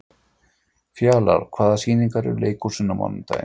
Fjalarr, hvaða sýningar eru í leikhúsinu á mánudaginn?